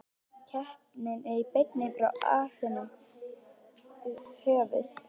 Keppnin er í beinni frá Aþenu, höfuð